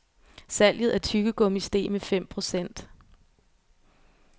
Salget af tyggegummi steg med fem procent.